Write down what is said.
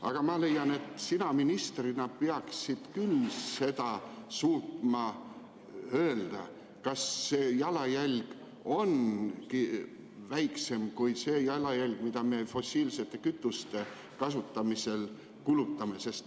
Aga ma leian, et sina ministrina peaksid küll suutma öelda, kas see jalajälg on väiksem kui see jalajälg, mida me fossiilsete kütuste kasutamisel tekitame.